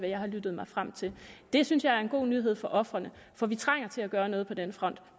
jeg har lyttet mig frem til det synes jeg er en god nyhed for ofrene for vi trænger til at gøre noget på den front